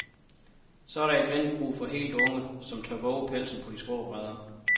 Så er der igen brug for de helt unge, som tør vove pelsen på de skrå brædder.